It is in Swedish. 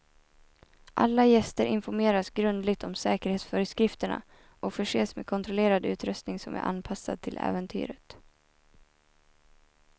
Alla gäster informeras grundligt om säkerhetsföreskrifterna och förses med kontrollerad utrustning som är anpassad till äventyret.